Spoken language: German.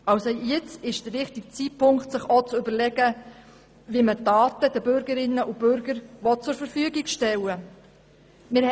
Jetzt ist also auch der richtige Zeitpunkt, um sich zu überlegen, wie man die Daten den Bürgerinnen und Bürgern zur Verfügung stellen will.